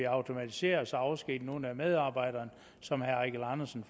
automatisere og så afskedige nogle af medarbejderne som herre eigil andersen